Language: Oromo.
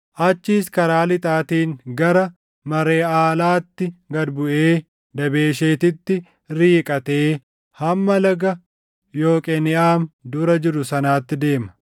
Achiis karaa lixaatiin gara Mareʼaalaatti gad buʼee Dabesheetitti riiqatee hamma laga Yoqeniʼaam dura jiru sanaatti deema.